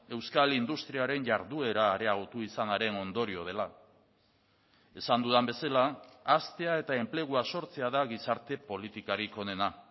euskal industriaren jarduera areagotu izanaren ondorio dela esan dudan bezala haztea eta enplegua sortzea da gizarte politikarik onena